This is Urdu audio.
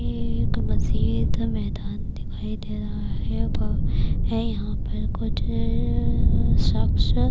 یہ ایک مزید میدان دکھایی دے رہا ہے، یھاں پرکچھ شخص--